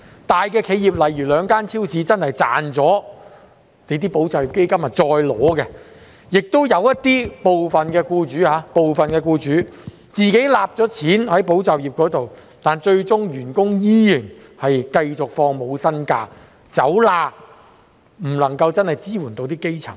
一些大企業例如兩間連鎖超市，它們賺了保就業基金後是可以再次領取的，亦有部分僱主是在取得保就業基金後，其員工最終依然要放取無薪假期，走"法律罅"，不能夠真正支援基層人士。